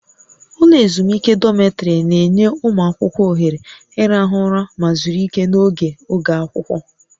Ụlọ ezumike dọmịtrị na-enye ụmụ akwụkwọ ohere ịrahụ ụra ma zuru ike n'oge oge akwụkwọ